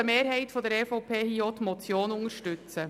Daher unterstützt eine Mehrheit der EVP hier auch die Motion.